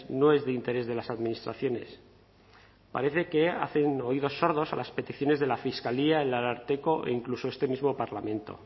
no es de interés de las administraciones parece que hacen oídos sordos a las peticiones de la fiscalía el ararteko e incluso este mismo parlamento